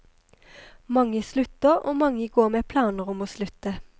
Mange slutter, og mange går med planer om å slutte.